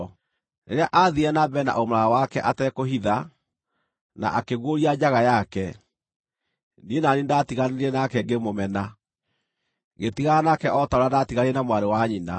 Rĩrĩa aathiire na mbere na ũmaraya wake atekũhitha, na akĩguũria njaga yake, niĩ na niĩ nĩndatiganire nake ngĩmũmena, ngĩtigana nake o ta ũrĩa ndaatiganire na mwarĩ wa nyina.